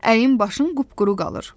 Əyin başın qupquru qalır.